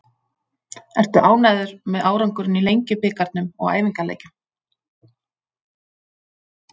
Ertu ánægður með árangurinn í Lengjubikarnum og æfingaleikjum?